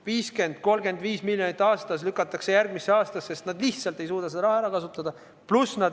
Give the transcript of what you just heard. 50 või 35 miljonit eurot aastas lükatakse järgmisse aastasse, sest nad lihtsalt ei suuda seda raha ära kasutada.